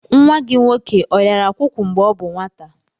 Nwa gị nwoke ọrịara akwụkwụ mgbe ọ bụ nwata.